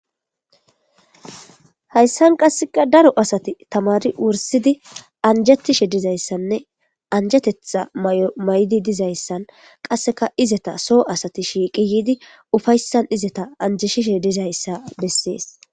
Hayssan qasseka daro asati tamari wursidi anjatishe dizayssanne anjetetha may7o may7di dizayssan qasseka izeta soo asati shiiqi yiidi ufayssan izeta anjeshishe dizayssa bessees.